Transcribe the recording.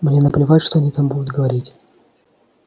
мне наплевать что они там будут говорить